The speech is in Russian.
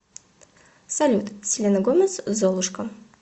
салют селена гомес золушка